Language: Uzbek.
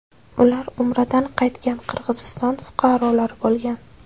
Ular Umradan qaytgan Qirg‘iziston fuqarolari bo‘lgan.